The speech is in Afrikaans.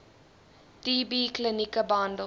tb klinieke behandel